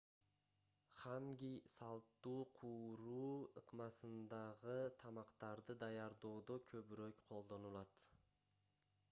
ханги салттуу кууруу ыкмасындагы тамактарды даярдоодо көбүрөөк колдонулат